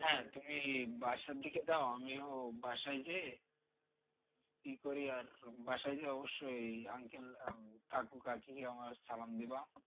হ্যাঁ তুমি বাসার দিকে যাও আমিও বাসায় যেয়ে ইয়ে করি আর বাসায় গিয়ে অব্যশই uncle কাকু কাকিকে আমার সালাম দিবা।